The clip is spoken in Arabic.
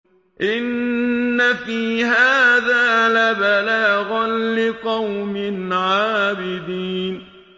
إِنَّ فِي هَٰذَا لَبَلَاغًا لِّقَوْمٍ عَابِدِينَ